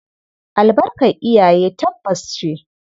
Albarkar iyaye tabbas ce.